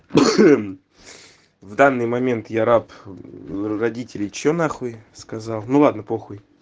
в данный момент я раб родителей что на хуй сказал ну ладно похуй